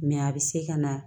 a bɛ se ka na